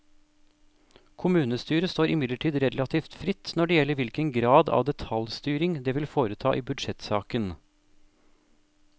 Kommunestyret står imidlertid relativt fritt når det gjelder hvilken grad av detaljstyring det vil foreta i budsjettsaken.